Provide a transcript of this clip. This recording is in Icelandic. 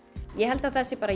ég held að það sé